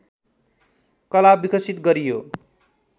कला विकसित गरियो